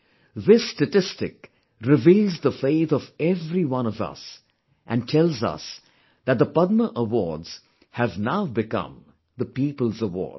This statistic reveals the faith of every one of us and tells us that the Padma Awards have now become the Peoples' awards